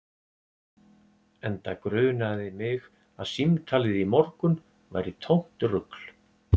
Enda grunaði mig að símtalið í morgun væri tómt rugl